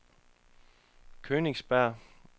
Königsberg